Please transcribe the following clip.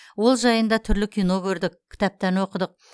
ол жайында түрлі кино көрдік кітаптан оқыдық